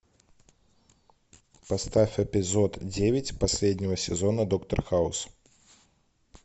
поставь эпизод девять последнего сезона доктор хаус